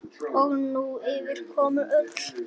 Og nú ýfist konan öll.